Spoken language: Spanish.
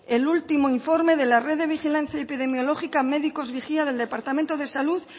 el último informe de la red de vigilancia epidemiológica médicos vigía del departamento de salud